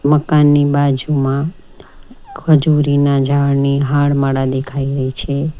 મકાનની બાજુમાં ખજુરીના ઝાડની હારમાળા દેખાઈ રહી છે.